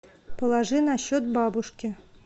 положи на счет бабушки